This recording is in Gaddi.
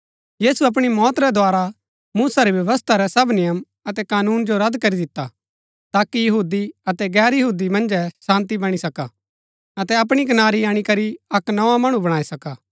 यीशु अपणी मौत रै द्धारा मूसा री व्यवस्था रै सब नियम अतै कानून जो रद्द करी दिता ताकि यहूदी अतै गैर यहूदी मन्जै शान्ती बणी सका अतै अपणी कनारी अणीकरी अक्क नोआ मणु बणाई सका